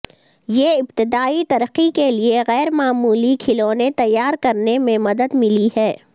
یہ ابتدائی ترقی کے لئے غیر معمولی کھلونے تیار کرنے میں مدد ملی ہے